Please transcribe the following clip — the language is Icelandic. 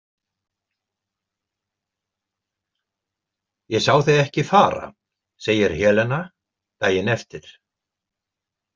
Ég sá þig ekki fara, segir Helena daginn eftir.